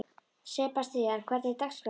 Sebastian, hvernig er dagskráin?